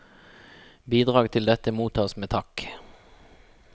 Bidrag til dette mottas med takk.